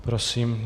Prosím.